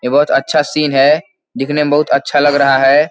ये बहुत अच्छा सीन है दिखने में बहुत अच्छा लग रहा है।